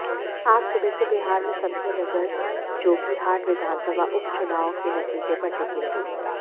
आज सुबह से बिहार में सबकी नजर जोकीहाट विधानसभा उपचुनाव के नतीजे पर टिकी रही